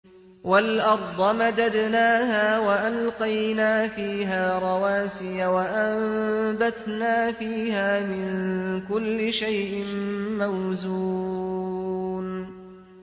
وَالْأَرْضَ مَدَدْنَاهَا وَأَلْقَيْنَا فِيهَا رَوَاسِيَ وَأَنبَتْنَا فِيهَا مِن كُلِّ شَيْءٍ مَّوْزُونٍ